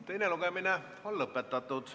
Teine lugemine on lõpetatud.